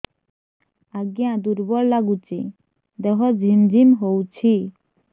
ଆଜ୍ଞା ଦୁର୍ବଳ ଲାଗୁଚି ଦେହ ଝିମଝିମ ହଉଛି